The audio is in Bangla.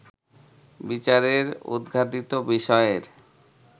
বিচারের উদঘাটিত বিষয়ের